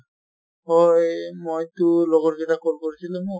হয় মই টো লগৰ কিটাক call কৰিছিলো ন